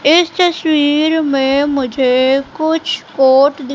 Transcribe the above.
इस तस्वीर में मुझे कुछ कोट --